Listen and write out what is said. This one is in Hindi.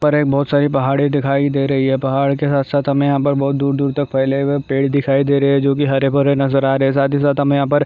ऊपर एक बहुत सारी पहाड़े दिखाई दे रहे है पहाड़ के साथ साथ हमें यहाँ पर बहुत दूर दूर तक फैले हुए दिखाई दे रहे है जोकि हरे भरे नजर आरहे है साथ ही साथ हमें यहाँ पर